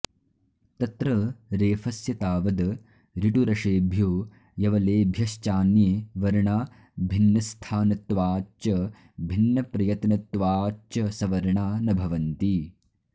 तत्र रेफस्य तावद् ऋटुरषेभ्यो यवलेभ्यश्चान्ये वर्णा भिन्नस्थानत्वाच्च भिन्नप्रयत्नत्वाच्च सवर्णा न भवन्ति